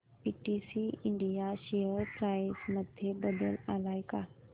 PTC India share price मध्ये बदल आलाय का